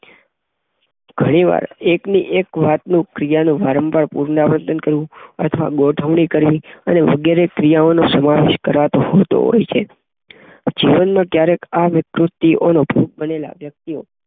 ઘણીવાર એકની એક વાતનું ક્રિયાનું વારંવાર પુનરાવર્તન અથવા ગુઠવણી કરવી અને વગેરે ક્રિયાઓનો સમાવેશ કરવો ઘુટો હોય છે. જીવનમાં ક્યારેક આ વિકૃતિનો ભોગ બનેલા વ્યક્તિ